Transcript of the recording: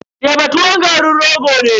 Teba tuwon garin rogo ne.